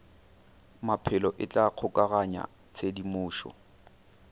maphelo e tla kgokaganya tshedimošo